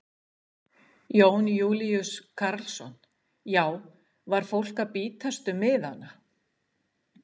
Jón Júlíus Karlsson: Já var fólk að bítast um miðana?